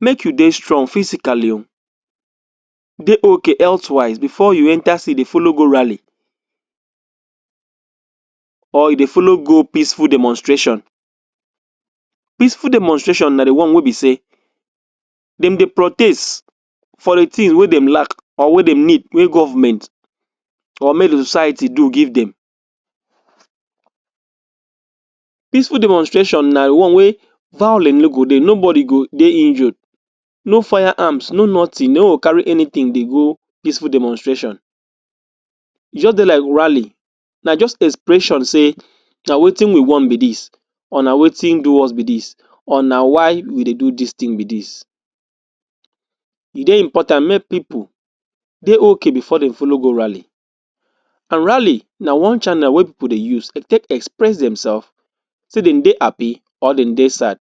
make you dey strong physically o, dey okay healthwise before you enta say you dey follow go rally or you dey follow go peaceful demonstration. Peaceful demonstration na the one wey be say dem dey protes for the thing wey dem lack or wey dem need wey government or wey society do give dem Peaceful demonstration na one wey violence no go dey, nobody go dey injured, no firearms, no nothing. You no go carry anything dey go peaceful demonstration. E jus dey like rally, na just expression say na wetin we want be dis or na wetin do us be dis or na why we dey do dis thing be dis. E dey important mey people dey okay before dem follow go rally. And rally na one channel wey people dey use take express themselves say dem dey happy or dem dey sad.